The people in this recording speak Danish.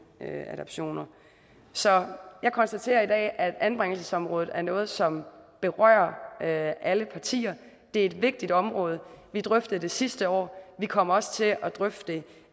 adoptioner så jeg konstaterer i dag at anbringelsesområdet er noget som berører alle partier det er et vigtigt område vi drøftede det sidste år vi kommer også til at drøfte det